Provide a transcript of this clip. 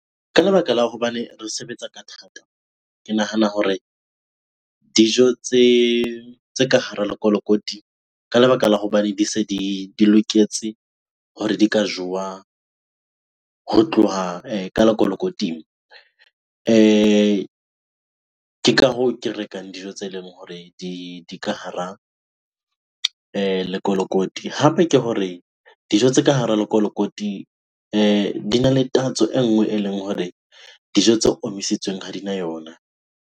Ka lebaka la hobane re sebetsa ka thata, ke nahana hore dijo tse ka hara lekolokoti ka lebaka la hobane di se di loketse hore di ka jowa ho tloha ka lekolokoting. Ke ka hoo ke rekang dijo tse leng hore di ka hara lekolokoti. Hape ke hore dijo tse ka hara lekolokoti dina le tatso e nngwe eleng hore dijo tse omisitsweng ha dina yona.